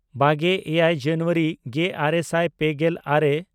ᱵᱟᱜᱮᱼᱮᱭᱟᱭ ᱡᱟᱱᱩᱣᱟᱨᱤ ᱜᱮᱼᱟᱨᱮ ᱥᱟᱭ ᱯᱮᱜᱮᱞ ᱟᱨᱮ